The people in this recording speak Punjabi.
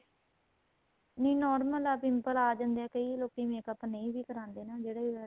ਨਹੀਂ normal ਆਂ ਵੀ pimple ਆਂ ਜਾਂਦੇ ਏ ਕਈ ਲੋਕੀ makeup ਨਹੀਂ ਵੀ ਕਰਾਦੇ ਨਾ ਜਿਹੜੇ